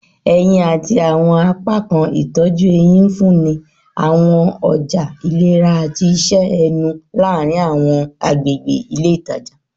Eyin ati awọn apakan itọju ehín nfunni awọn ọja ilera ati iṣẹ ẹnu laarin awọn agbegbe ile itaja